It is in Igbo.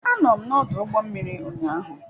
Anọ m n'ọdụ ụgbọ mmiri ụnyaahụ.